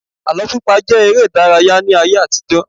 Àlọ́ pípa jẹ́ eré ìdárayá ní ayé àtijó.